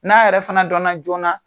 N'a yɛrɛ fana dɔnna joona